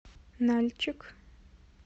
нальчик